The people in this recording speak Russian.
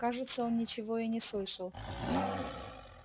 кажется он ничего и не слышал